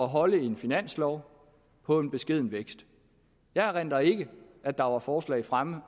holde en finanslov på en beskeden vækst jeg erindrer ikke at der var forslag fremme